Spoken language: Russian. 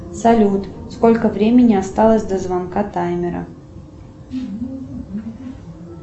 салют сколько времени осталось до звонка таймера